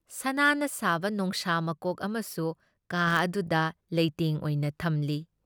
ꯁꯅꯥꯅ ꯁꯥꯕ ꯅꯣꯡꯁꯥ ꯃꯀꯣꯛ ꯑꯃꯁꯨ ꯀꯥ ꯑꯗꯨꯗ ꯂꯩꯇꯦꯡ ꯑꯣꯏꯅ ꯊꯝꯃꯤ ꯫